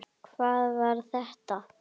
HVAÐ VAR ÞETTA?